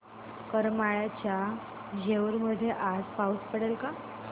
करमाळ्याच्या जेऊर मध्ये आज पाऊस पडेल का